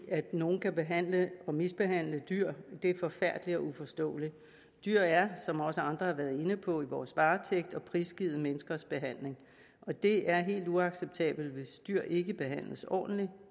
at nogen kan behandle dyr og mishandle dyr er forfærdeligt og uforståeligt dyr er som også andre har været inde på i vores varetægt og prisgivet menneskers behandling og det er helt uacceptabelt hvis dyr ikke behandles ordentligt